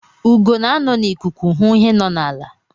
Ugo na-anọ n'ikuku hụ ihe nọ n'ala.